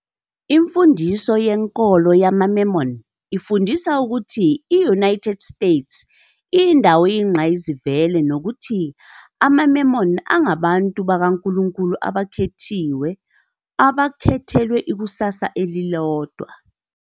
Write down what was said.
Imfundiso yenkolo yamaMormon ifundisa ukuthi i- United States iyindawo eyingqayizivele nokuthi amaMormon angabantu bakaNkulunkulu abakhethiwe, abakhethelwe ikusasa elilodwa.